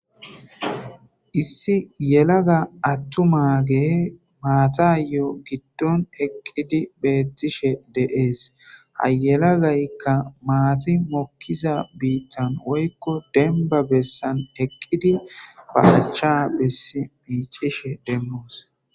issi yelaga attu maage maatayo giddon eqqidi beettishe deees ha yelagaykka maati mokkiza biittan woykko demba bessan eqqidi bahacha bessi miicishe demmoos